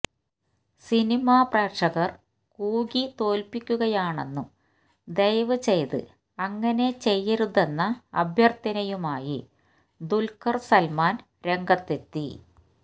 cinema പ്രേക്ഷകര് കൂകി തോല്പ്പിക്കുകയാണെന്നും ദയവ് ചെയ്ത് അങ്ങനെ ചെയ്യരുതെന്ന അഭ്യര്ത്ഥനയുമായി ദുല്ഖര് സല്മാന് രംഗത്തെത്തി